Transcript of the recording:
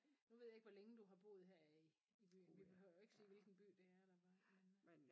Nu ved jeg ikke hvor længe du har boet her i i byen vi behøver jo ikke sige hvilken by det er eller hvad men øh